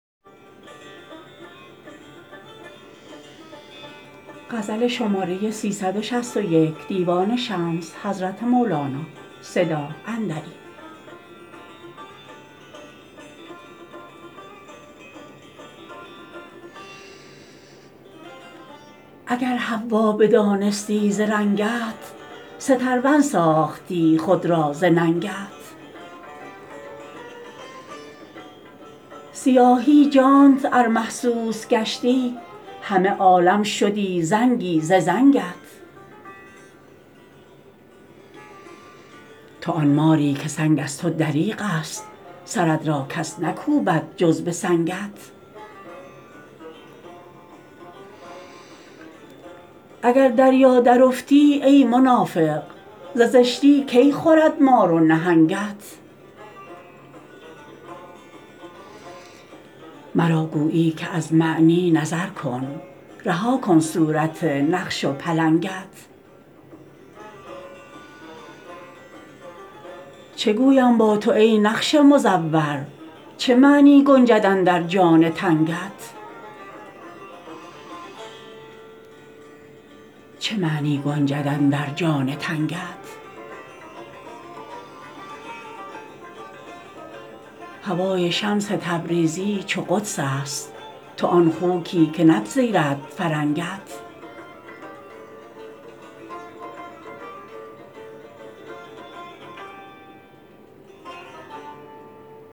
اگر حوا بدانستی ز رنگت سترون ساختی خود را ز ننگت سیاهی جانت ار محسوس گشتی همه عالم شدی زنگی ز زنگت تو آن ماری که سنگ از تو دریغ است سرت را کس نکوبد جز به سنگت اگر دریا درافتی ای منافق ز زشتی کی خورد مار و نهنگت مرا گویی که از معنی نظر کن رها کن صورت نقش و پلنگت چه گویم با تو ای نقش مزور چه معنی گنجد اندر جان تنگت هوای شمس تبریزی چو قدس است تو آن خوکی که نپذیرد فرنگت